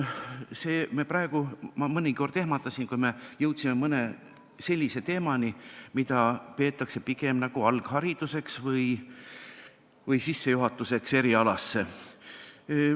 Mind mõnikord ehmatas, kui me jõudsime mõne sellise teemani, mida peetakse pigem nagu alghariduseks või sissejuhatuseks erialasse.